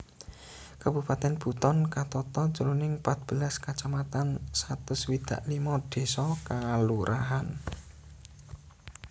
Kabupatèn Buton katata jroning pat belas kacamatan satus swidak limo désa/kalurahan